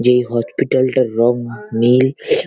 যেই হচপিটাল -টার রং নীল--